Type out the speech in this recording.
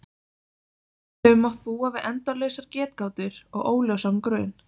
Við höfum mátt búa við endalausar getgátur og óljósan grun.